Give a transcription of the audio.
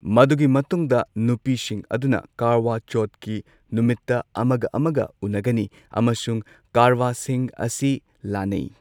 ꯃꯗꯨꯒꯤ ꯃꯇꯨꯡꯗ ꯅꯨꯄꯤꯁꯤꯡ ꯑꯗꯨꯅ ꯀꯥꯔꯋꯥ ꯆꯧꯊꯀꯤ ꯅꯨꯃꯤꯠꯇ ꯑꯃꯒ ꯑꯃꯒ ꯎꯟꯅꯒꯅꯤ ꯑꯃꯁꯨꯡ ꯀꯥꯔꯋꯥꯁꯤꯡ ꯑꯁꯤ ꯂꯥꯟꯅꯩ꯫